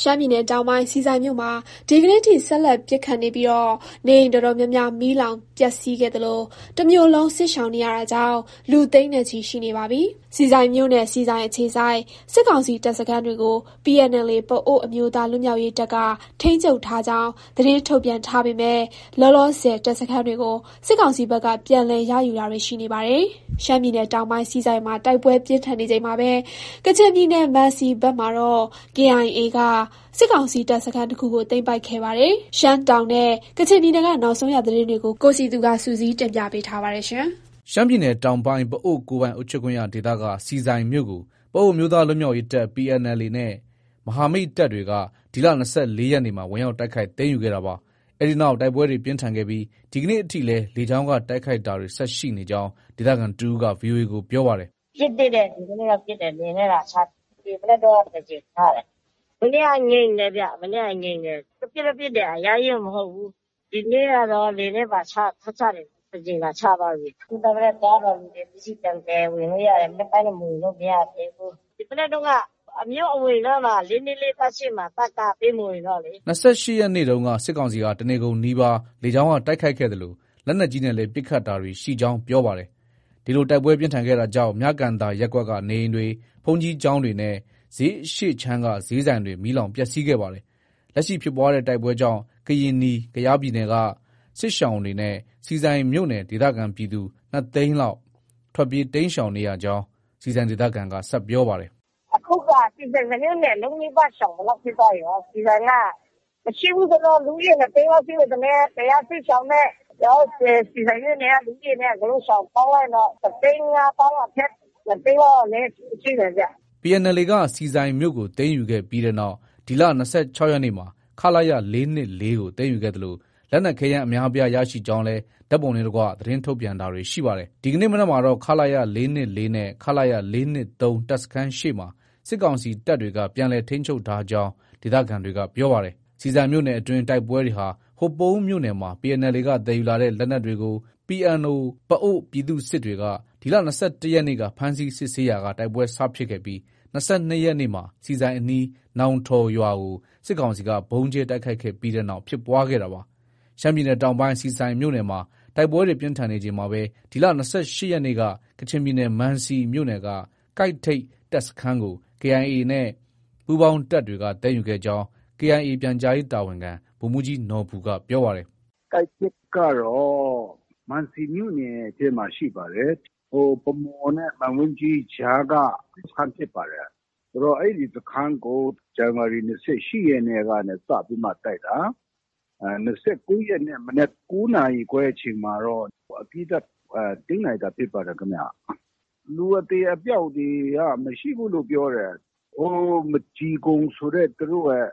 ရှမ်းပြည်နယ်တောင်ပိုင်း ဆီဆိုင်မြို့မှာ ဒီကနေ့ထိ ဆက်လက် ပစ်ခတ်နေပြီး နေအိမ်အတော်များများ မီးလောင်ပျက်စီးခဲ့သလို တမြို့နယ်လုံး စစ်ရှောင်နေရတာကြောင့် လူသိန်းနဲ့ချီရှိနေပါတယ်။ ဆီဆိုင်မြို့နဲ့ ဆီဆိုင်အခြေစိုက် စစ်ကောင်စီတပ်စခန်းတွေကို PNLA ပအိုဝ်းအမျိုးသားလွတ်မြောက်ရေးတပ်က ထိန်းချုပ် ထားကြောင်း သတင်းထုတ်ပြန်ထားပေမဲ့ လောလောဆယ် တပ်စခန်းတွေကို စစ်ကောင်စီဘက်က ပြန်လည် ရယူတာတွေ ရှိနေပါတယ်။ ရှမ်းပြည်နယ်တောင်ပိုင်း ဆီဆိုင်မှာ တိုက်ပွဲပြင်းထန်နေချိန်မှာပဲ ကချင်ပြည်နယ် မံစီဘက်မှာတော့ KIA က စစ်ကောင်စီတပ်စခန်းတခုကို သိမ်းယူခဲ့ပါတယ်။ ရှမ်းတောင်နဲ့ ကချင်ပြည်နယ်က နောက်ဆုံးရသတင်းတွေကို ကိုစည်သူက စုစည်းတင်ပြထားပါတယ်။ ရှမ်းပြည်နယ်တောင်ပိုင်း ပအိုဝ်းကိုယ်ပိုင်အုပ်ချုပ်ခွင့်ရဒေသက ဆီဆိုင်မြို့ကို ပအိုဝ်းအမျိုးသား လွတ်မြောက်ရေးတပ် PNLA နဲ့ မဟာမိတ်တပ်တွေက ဒီလ ၂၄ရက်နေ့မှာ ဝင်ရောက်တိုက်ခိုက် သိမ်းယူခဲ့တာပါ။ အဲဒီနောက် တိုက်ပွဲတွေ ပြင်းထန်ခဲ့ပြီး ဒီကနေ့ထိလည်း လေကြောင်းက တိုက်ခိုက်တာတွေ ဆက်ရှိနေကြောင်း ဒေသခံတဦးက VOA ကို ပြောပါတယ်။ “ ပစ်သေးတယ်။ ဒီမနက်က ပစ်တယ်။ လေယာဉ်နဲ့ လာချတယ်။ ဒီမနက်တုံးက တကြိမ်ချတယ်။ မနေ့က ငြိမ်တယ်ဗျ။ မနေ့က ငြိမ်တယ်ဗျ။ ပစ်တော့ ပစ်တယ် အရမ်းကြီးတော့ မဟုတ်ဘူး။ ဒီကနေ့ကတော့ လေယာဉ်နဲ့ပါ ချတယ်။ တကြိမ်လာချသွားပြီ။ ခုနက မနက်သွားတော့ လူတွေ ပစ္စည်းပြန်သယ်ဝင်လို့ ရတယ်။ မနက်ပိုင်းတော့ ဝင်လို့ မရသေးဘူး။ မနက်တုန်းက ၄၂၄ တပ်ရှေ့မှာ တပ်က ပေးမဝင်တော့လေ။ ” ၂၈ရက်နေ့တုန်းက စစ်ကောင်စီဟာ တနေကုန်နီးပါး လေကြောင်းက တိုက်ခိုက်ခဲ့သလို လက်နက်ကြီးနဲ့လည်း ပစ်ခတ်တာတွေ ရှိကြောင်း ပြောပါတယ်။ ဒီလိုတိုက်ပွဲပြင်းထန်ခဲ့တာကြောင့် မြကန်သာရပ်ကွက်က နေအိမ်တွေ၊ ဘုန်းကြီးကျောင်းတွေနဲ့ ဈေးအရှေ့ခြမ်းကဈေးဆိုင်တွေ မီးလောင်ပျက်ဆီးခဲ့ပါတယ်။ လက်ရှိ ဖြစ်ပွားတဲ့ တိုက်ပွဲကြောင့် ကရင်နီ ပြည်နယ်က စစ်ရှောင်တွေနဲ့ ဆီဆိုင်မြို့နယ် ဒေသခံပြည်သူ ၂သိန်းလောက် ထွက်ပြေးတိမ်းရှောင်နေရကြောင်း ဆီဆိုင်ဒေသခံက ဆက်ပြောပါတယ်။ “ အခုက ဆီဆိုင် တမြို့နယ်လုံးနီးပါး ရှောင်သလောက်ဖြစ်သွားပြီကော။ ဆီဆိုင်က မရှိဘူးဆိုရင်တော့ လူဦးရေ ၂သိန်းနီးပါး ရှိမယ်ထင်တယ်။ ကယားစစ်ရှောင်နဲ့ ကျနော်တို့ ဆီဆိုင်မြို့နယ်က လူဦးရေ အကုန်လုံးပေါင်းလိုက်ရင်တော့ တသိန်း ငါးသောင်းအထက် ၂သိန်း လောက် အနည်း ရှိမယ်ဗျ။ ” PNLA ကဆီဆိုင်မြို့ကို သိမ်းယူခဲ့ပြီးနောက် ဒီလ ၂၆ရက်နေ့မှာ ခလရ ၄၂၄ကို သိမ်းယူခဲ့သလို လက်နက်ခဲယမ်းအများအပြားရရှိကြောင်းလည်း ဓါတ်ပုံနဲ့တကွ သတင်းထုတ်ပြန်တာတွေ ရှိပါတယ်။ ဒီကနေ့မနက်မှာတော့ ခလရ ၄၂၄နဲ့ ခလရ ၄၂၃ တပ်စခန်းရှေ့မှာ စစ်ကောင်စီတပ်တွေက ပြန်လည် ထိန်းချုပ်ထားကြောင်း ဒေသခံတွေက ပြောပါတယ်။ ဆီဆိုင်မြို့နယ်အတွင်း တိုက်ပွဲတွေဟာ ဟိုပုန်းမြို့နယ်မှာ PNLA က သယ်ယူလာတဲ့ လက်နက်တွေကို PNO ပအိုဝ်းပြည်သူ့စစ်တွေက ဒီလ ၂၁ရက်နေ့က ဖမ်းဆီးစစ်ဆေးရာက တိုက်ပွဲစဖြစ်ခဲ့ပြီး ၂၂ရက်နေ့မှာ ဆီဆိုင်အနီး နောင်ထော်ရွာကို စစ်ကောင်စီက ဗုံးကြဲတိုက်ခိုက်ခဲ့တဲ့နောက် ဖြစ်ပွားခဲ့တာပါ။ ရှမ်းပြည်နယ် တောင်ပိုင်း ဆီဆိုင်မြို့နယ်မှာ တိုက်ပွဲတွေ ပြင်းထန်နေချိန်မှာပဲ ဒီလ ၂၈ရက်နေ့က ကချင်ပြည်နယ်မံစီမြို့နယ်က ကိုက်ထိပ်တပ်စခန်းကို KIA နဲ့ ပူးပေါင်းတပ်တွေက သိမ်းယူခဲ့ကြောင်း KIA ပြန်ကြားရေးတာဝန်ခံ ဗိုလ်မှူးကြီးနော်ဘူက ပြောပါတယ်။ “ ကိုက်ထိပ်ကတော့ မံစီမြို့နယ်ထဲမှာ ရှိပါတယ်။ ဗန်းမော်နဲ့ မန်ဝိန်းကြီးကြားက စစ်စခန်းဖြစ်ပါတယ်။ အဲဒီစခန်းကို ဇန်နဝါရီ ၂၈ရက်နေ့က စပြီးတော့ တိုက်တာ။ ၂၉ရက်နေ့ မနက် ၉နာရီခွဲအချိန်မှာတော့ အပြီးသတ် သိမ်းနိုင်တာ ဖြစ်ပါတယ်ခင်ဗျ။ လူအသေအပျောက်တွေက မရှိဘူးလို့ ပြောတယ်။ ဟို မဂျီကုံဆိုတဲ့ သူတို့ရဲ့